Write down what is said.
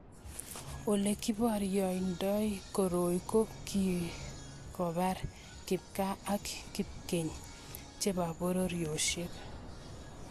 Ole kiboryendoiak koroi ko kikobar kipkaa ak kipkeny chebo pororiosiek